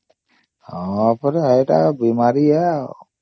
ହଁ ପରା ଏଟା ବୀମାରୀ ହେ ଆଉ